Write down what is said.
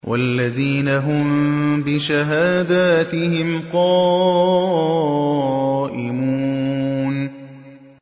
وَالَّذِينَ هُم بِشَهَادَاتِهِمْ قَائِمُونَ